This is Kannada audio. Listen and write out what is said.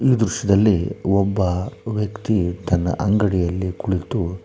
ಈ ದೃಶ್ಯದಲ್ಲಿ ಒಬ್ಬ ವ್ಯಕ್ತಿ ತನ್ನ ಅಂಗಡಿಯಲ್ಲಿ ಕುಳಿತು--